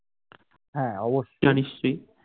হ্যাঁ